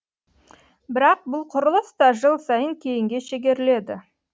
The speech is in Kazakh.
бірақ бұл құрылыс та жыл сайын кейінге шегеріледі